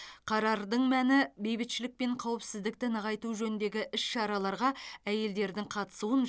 қарардың мәні бейбітшілік пен қауіпсіздікті нығайту жөніндегі іс шараларға әйелдердің қатысуын